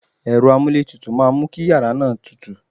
Ẹ̀rọ amúlé tutù máa mú kí yàrá náà tútù.